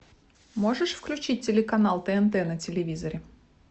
можешь включить телеканал тнт на телевизоре